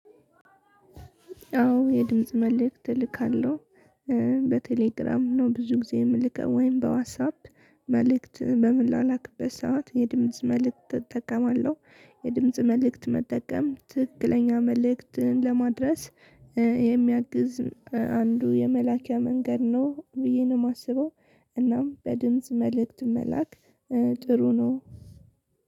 አዎ የድምጽ መልእክት እልካለሁ በቴሌግራም ነው ብዙ ጊዜ የምልከው ወይም በዋትሳፕ መልእክት በምላላክበት ሰዓት የድምጽ መልእክት እጠቀማለሁ የድምጽ መልእክት መጠቀም ትክክለኛ መልእክትን ለማድረስ የሚያግዝ አንዱ የመላኪያ መንገድ ነው ብዬ ነው የማስበው እናም በድምጽ መልእክት መላክ ጥሩ ነው።